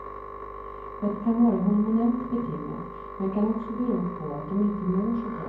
Det kan vara hormonellt betingat, men kan också bero på att de inte mår så bra.